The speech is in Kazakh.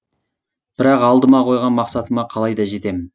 бірақ алдыма қойған мақсатыма қалайда жетемін